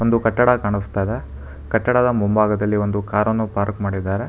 ಒಂದು ಕಟ್ಟಡ ಕಾನಸ್ತಾ ಇದೆ ಕಟ್ಟಡದ ಮುಂಭಾಗದಲ್ಲಿ ಒಂದು ಕಾರ್ ಅನ್ನು ಪಾರ್ಕ್ ಮಾಡಿದಾರೆ.